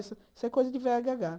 Isso é coisa de véia gagá.